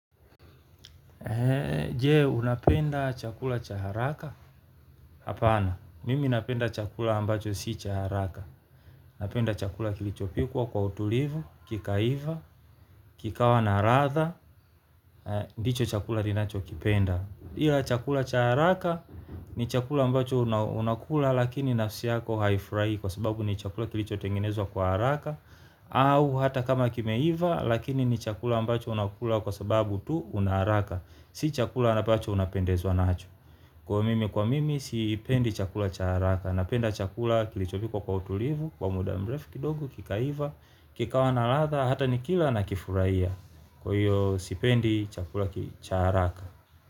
Je unapenda chakula cha haraka. Hapana, mimi napenda chakula ambacho si cha haraka. Napenda chakula kilichopikwa kwa utulivu, kika iva, kikawa na latha. Ndicho chakula ninacho kipenda. Ila chakula cha haraka ni chakula ambacho unakula lakini nafsi yako haifurahi. Kwa sababu ni chakula kilicho tengenezwa kwa haraka. Au hata kama kime iva lakini ni chakula ambacho unakula kwa sababu tu unaharaka. Si chakula anambacho unapendezwa nacho. Kwa mimi kwa mimi sipendi chakula chaharaka. Napenda chakula kilichopikwa kwa utulivu. Kwa muda mrefu kidogo kikaiva. Kikawa na latha hata nikila na kifurahia. Kwa hiyo sipendi chakula charaka.